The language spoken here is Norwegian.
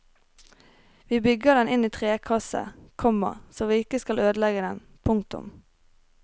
Vi bygger den inn i trekasse, komma så vi ikke skal ødelegge den. punktum